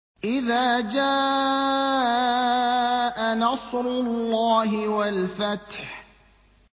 إِذَا جَاءَ نَصْرُ اللَّهِ وَالْفَتْحُ